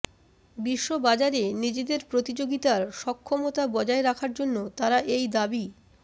বিশ্ববাজারে নিজেদের প্রতিযোগিতার সক্ষমতা বজায় রাখার জন্য তারা এই দাবি